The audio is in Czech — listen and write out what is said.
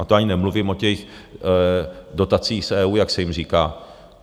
A to ani nemluvím o těch dotacích z EU, jak se jim říká.